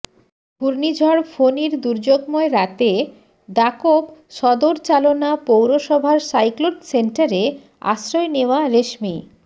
ঘূর্ণিঝড় ফণীর দুর্যোগময় রাতে দাকোপ সদর চালনা পৌরসভার সাইক্লোন শেল্টারে আশ্রয় নেওয়া রেশমী